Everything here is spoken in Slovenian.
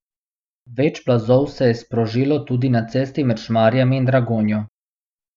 Več plazov se je sprožilo tudi na cesti med Šmarjami in Dragonjo.